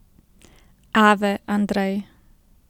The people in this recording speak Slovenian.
Ave, Andrej!